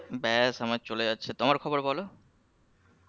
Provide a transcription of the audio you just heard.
ব্যাস আমার চলে যাচ্ছে তোমার খবর বল